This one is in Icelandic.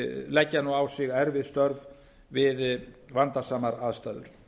leggja nú á sig erfið störf við vandasamar aðstæður